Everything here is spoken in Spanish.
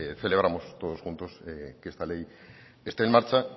celebramos todos juntos que esta ley esté en marcha